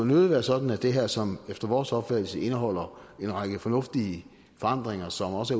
nødig være sådan at det her som efter vores opfattelse indeholder en række fornuftige forandringer som også